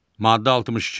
Maddə 62.